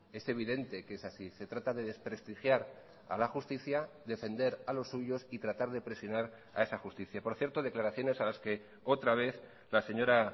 es evidente que es así se trata de desprestigiar a la justicia defender a los suyos y tratar de presionar a esa justicia por cierto declaraciones a las que otra vez la señora